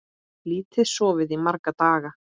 Lítið sofið í marga daga.